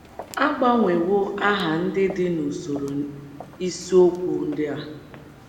A gbanwewo aha ndị dị n’usoro isiokwu ndị a.